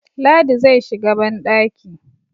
ladi zai shiga bandaki